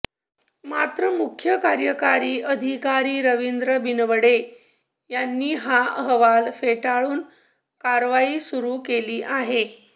मात्र मुख्य कार्यकारी अधिकारी रवींद्र बिनवडे यांनी हा अहवाल फेटाळून कारवाई सुरु केली आहे